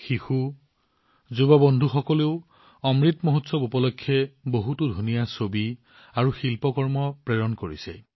শিশু যুৱ বন্ধুসকলেও অমৃত মহোৎসৱত অতি ধুনীয়া ছবি আৰু শিল্পকৰ্ম প্ৰেৰণ কৰিছে